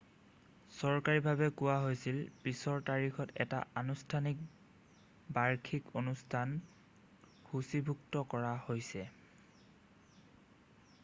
চৰকাৰীভাৱে কোৱা হৈছিল পিছৰ তাৰিখত এটাত আনুষ্ঠানিক বাৰ্ষিকী অনুষ্ঠান সূচীভুক্ত কৰা হৈছে